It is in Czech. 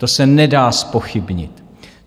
To se nedá zpochybnit.